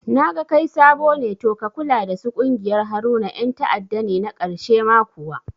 Naga kai sabo ne to ka kula dasu ƙungiyar Haruna yan ta'adda ne na karshe ma kuwa